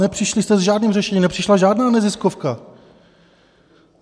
Nepřišli jste s žádným řešením, nepřišla žádná neziskovka.